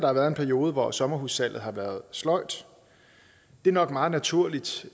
har været en periode hvor sommerhussalget har været sløjt det er nok meget naturligt